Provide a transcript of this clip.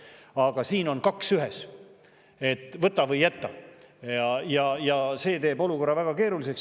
Aga siin on kaks ühes, võta või jäta, ja see teeb olukorra väga keeruliseks.